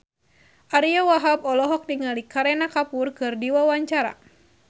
Ariyo Wahab olohok ningali Kareena Kapoor keur diwawancara